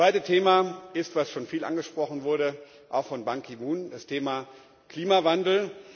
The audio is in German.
Das zweite Thema, das schon viel angesprochen wurde auch von Ban Ki moon, ist das Thema Klimawandel.